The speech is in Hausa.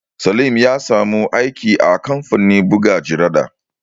Salim ya samu aiki a kamfanin buga jarida